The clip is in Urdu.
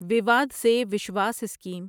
وواد سے وشواس اسکیم